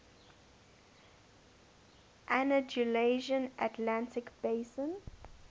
andalusian atlantic basin